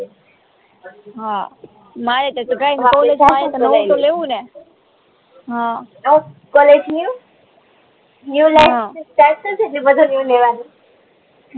હમ નૂઉ life start થશે જે બધા નૂઉ લેવાનું